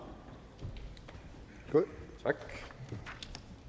når